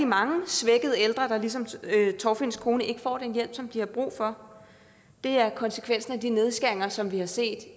mange svækkede ældre der ligesom torfinns kone ikke får den hjælp som de har brug for det er konsekvensen af de nedskæringer som vi her set